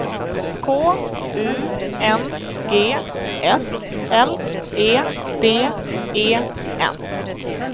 K U N G S L E D E N